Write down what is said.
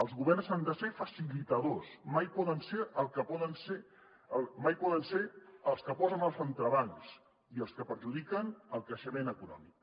els governs han de ser facilitadors mai poden ser els que posen els entrebancs i els que perjudiquen el creixement econòmic